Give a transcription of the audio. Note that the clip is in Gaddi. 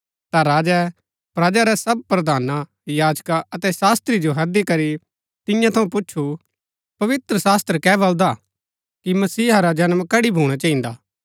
ता राजै प्रजा रै सब प्रधान याजका अतै शास्त्री जो हैदी करी तियां थऊँ पुछु पवित्रशास्त्र कै बलदा कि मसीहा रा जन्म कड़ी भूणा चहिन्दा